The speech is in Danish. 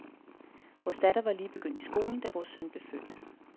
Vores datter var lige begyndt i skolen, da vores søn blev født.